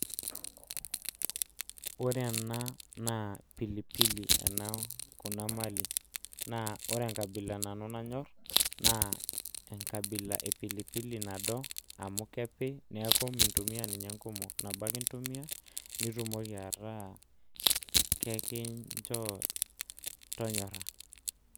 Ore ena naa pilipili kuna mali naa ore enkabila nanu nanyorr naa enkabila e pilipili nado amu kepii amu mintumiya ninye enkumok nabo ake intumiya nitumoki ataa enkishoo tonyorra.